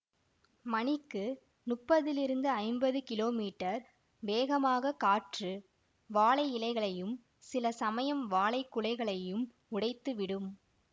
மணிக்கு முப்பதிலிருந்து ஐம்பது கிலோ மீட்டர் வேகமான காற்று வாழை இலைகளையும் சில சமயம் வாழைக்குலையையும் உடைத்துவிடும்